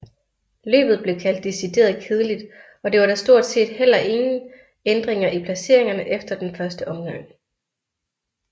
Løbet blev kaldt decideret kedeligt og der var da stort set heller ingen ændringer i placeringerne efter første omgang